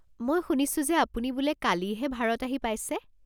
মই শুনিছোঁ যে আপুনি বোলে কালিহে ভাৰত আহি পাইছে।